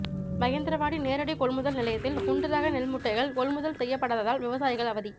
மகேந்திரவாடி நேரடி கொள்முதல் நிலையத்தில் குண்டு ரக நெல் மூட்டைகள் கொள்முதல் செய்யப்படாததால் விவசாயிகள் அவதி